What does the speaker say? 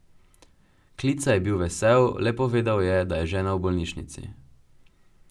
Klica je bil vesel, le povedal je, da je žena v bolnišnici.